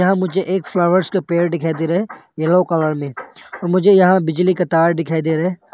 यहाँ मुझे एक फ्लावर्स का पेड़ दिखाई दे रहा है येलो कलर में और मुझे यहां एक बिजली का तार दिखाई दे रहे हैं।